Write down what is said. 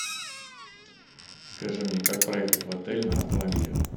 скажи мне как проехать в отель на автомобиле